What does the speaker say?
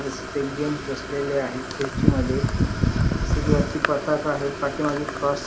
gents बसलेले आहेत खुर्ची मध्ये तसेच वरती पताका आहेत पाठीमाग क्रॉस --